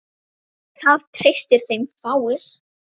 Það treysta þeim fáir.